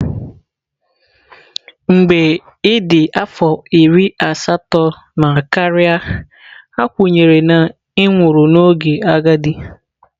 Mgbe ị dị afọ iri asatọ na karịa, a kwenyere na ị nwụrụ n'oge agadi.